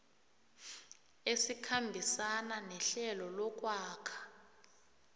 esikhambisana nehlelo lokwakha